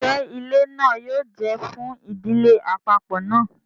Njẹ ilẹ náà yóò jẹ fún ìdílé àpapọ náà?